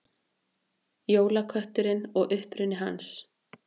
Jólakötturinn og uppruni hans.